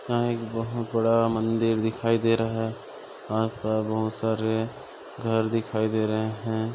यहाँ एक बहोत बड़ा मंदिर दिखाई दे रहा हैं यहाँ पर बहोत सारे घर दिखाई दे रहे है।